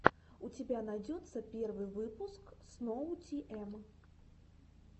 у тебя найдется первый выпуск сноутиэм